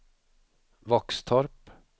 Våxtorp